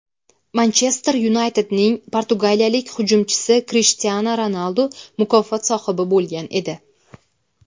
"Manchester Yunayted"ning portugaliyalik hujumchisi Krishtianu Ronaldu mukofot sohibi bo‘lgan edi.